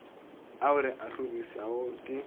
ao re a hlorišago ke